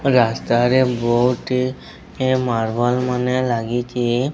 ରାସ୍ତାରେ ବହୁତ୍ ଟି ଏ ମର୍ବଲ୍ ମାନେ ଲାଗିଚି।